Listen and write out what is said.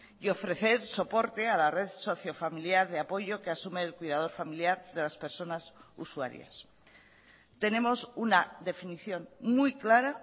y ofrecer soporte a la red sociofamiliar de apoyo que asume el cuidador familiar de las personas usuarias tenemos una definición muy clara